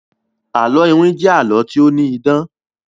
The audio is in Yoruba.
àlọ iwin jé àlọ to ni idán.